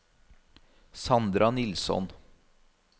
Sandra Nilsson